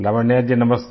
लावण्या जी नमस्ते